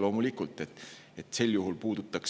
Loomulikult,